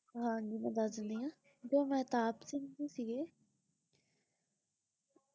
ਹਾਂਜੀ ਮੈਂ ਦੱਸ ਦਿੰਦੀ ਆਂ ਜੋ ਮਹਿਤਾਬ ਸਿੰਘ ਜੀ ਸੀਗੇ